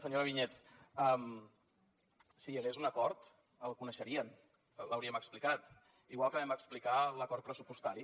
senyora vinyets si hi hagués un acord el coneixerien l’hauríem explicat igual que vam explicar l’acord pressupostari